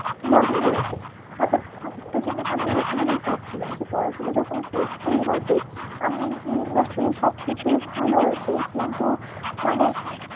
ভালোই হয়েছে তারপর আরেকটা জিনিস আমি আরেকটা জিনিস ভাবছিলাম যে পড়াশোনা যখন করতেই হবে তাহলে এই industry র সব কিছুই ভালো আছে কিন্তু মানে